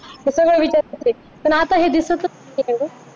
हे सगळं विचारायचे पण आता हे दिसतच नाही